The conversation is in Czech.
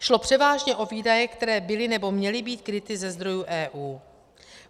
Šlo převážně o výdaje, které byly nebo měly být kryty ze zdrojů EU.